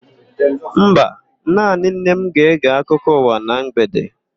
Mba, naanị nne m ga-ege akụkọ ụwa na mgbede.